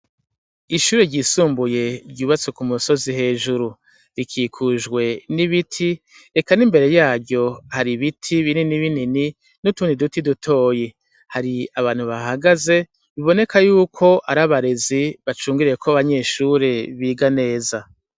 Ishure ryisumbuye ryubatswe ku musozi hejuru. Rikikijwe n'ibiti, eka n'imbere yaryo hari ibiti bininibinini n'utundi duti dutoyi. Hari abantu bahagaze, biboneka y'uko ari abarezi bacungereye ko abanyeshure biga neza.